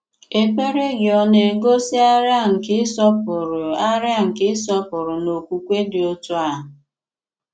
Èkpèrè gị̀ ọ na-egosi àrịà nke ị̀sọpụrụ̀ àrịà nke ị̀sọpụrụ̀ na okwùkwè dị otu a?